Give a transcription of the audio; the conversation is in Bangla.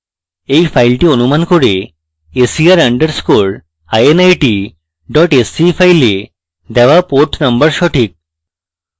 এই file অনুমান করে ser underscore init dot sce file দেওয়া port number সঠিক